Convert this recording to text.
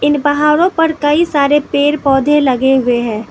And पहाड़ों पर कई सारे पेड़ पौधे लगे हुए हैं।